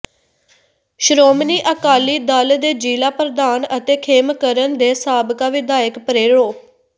ਸ਼੍ਰੋਮਣੀ ਅਕਾਲੀ ਦਲ ਦੇ ਜ਼ਿਲ੍ਹਾ ਪ੍ਰਧਾਨ ਅਤੇ ਖੇਮਕਰਨ ਦੇ ਸਾਬਕਾ ਵਿਧਾਇਕ ਪ੍ਰਰੋ